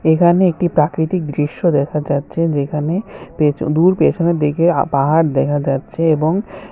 এখানে একটি প্রাকৃতিক দৃশ্য দেখা যাচ্ছে যেখানে পেছনে দূর পেছনের দিকে পাহাড় দেখা যাচ্ছে এবং